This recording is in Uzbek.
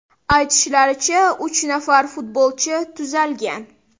Aytishlaricha, uch nafar futbolchi tuzalgan.